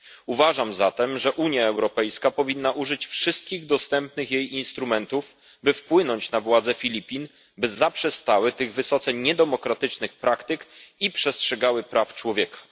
Uważam zatem, że Unia Europejska powinna użyć wszystkich dostępnych jej instrumentów, by wpłynąć na władze Filipin, by zaprzestały tych wysoce niedemokratycznych praktyk i przestrzegały praw człowieka.